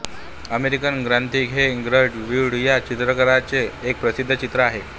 American Gothic हे Grant Wood या चित्रकाराचे एक प्रसिद्ध चित्र आहे